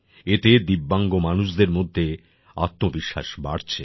এতে দিব্যাংগ মানুষদের মধ্যে আত্মবিশ্বাস বাড়ছে